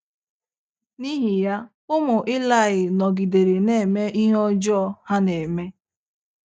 N’ihi ya, ụmụ Ilaị nọgidere na - eme ihe ọjọọ ha na - eme.